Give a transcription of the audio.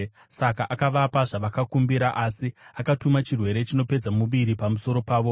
Saka akavapa zvavakakumbira, asi akatuma chirwere chinopedza muviri pamusoro pavo.